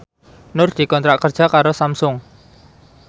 Nur dikontrak kerja karo Samsung